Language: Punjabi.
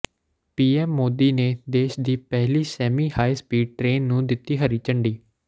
ਪੀਐਮ ਮੋਦੀ ਨੇ ਦੇਸ਼ ਦੀ ਪਹਿਲੀ ਸੈਮੀ ਹਾਈ ਸਪੀਡ ਟਰੇਨ ਨੂੰ ਦਿੱਤੀ ਹਰੀ ਝੰਡੀ